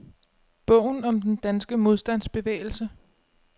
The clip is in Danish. Bogen om den danske modstandsbevægelse.